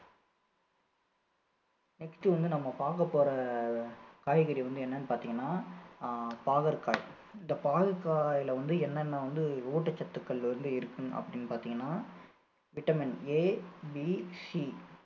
next வந்து நம்ம பாக்க போற காய்கறி வந்து என்னன்னு பார்த்தீங்கன்னா அஹ் பாகற்காய் இந்த பாகற்காயில வந்து என்னென்ன வந்து ஊட்டச்சத்துக்கள் வந்து இருக்கும் அப்படின்னு பாத்தீங்கன்னா vitamin ABC